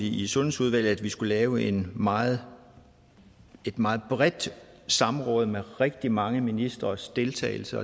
i sundhedsudvalget at vi skulle lave et meget et meget bredt samråd med rigtig mange ministres deltagelse